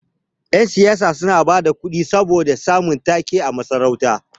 Yan siyasa suna bada kuɗi saboda samun ta-ke a masarauta.